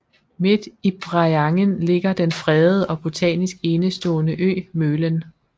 Midt i Breiangen ligger den fredede og botanisk enestående ø Mølen